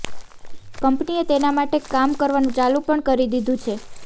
કંપનીએ તેના માટે કામ કરવાનું ચાલુ પણ કરી દીધું છે